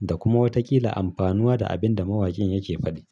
da kuma watakila amfanuwa da abin da mawakin yake faɗi.